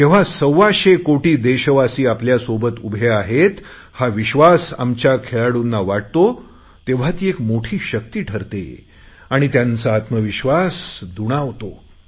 जेव्हा सव्वाशेकोटी देशवासी आपल्यासोबत उभे आहेत हा विश्वास आमच्या खेळाडूंना वाटतो तेव्हा ही मोठी शक्ती ठरते आणि त्यांचा आत्मविश्वास दुणावतो